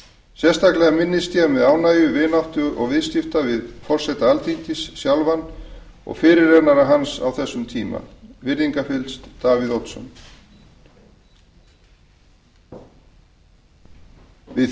sérstaklega minnist ég með ánægju vináttu og viðskipta við forseta alþingis sjálfan og fyrirrennara hans á þessum tíma virðingarfyllst davíð oddsson við